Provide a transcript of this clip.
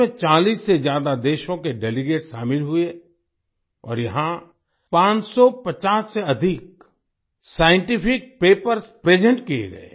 इसमें 40 से ज्यादा देशों के डेलीगेट्स शामिल हुए और यहां 550 से अधिक साइंटिफिक पेपर्स प्रेजेंट किये गए